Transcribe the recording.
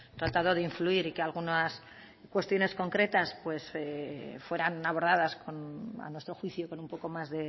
tratado de influir y que algunas cuestiones concretas fueran abordadas a nuestro juicio con un poco más